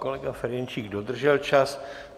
Kolega Ferjenčík dodržel čas.